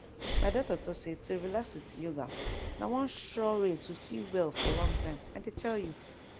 my doctor talk say to relax with yoga na one sure way to feel well for long time i dey tell you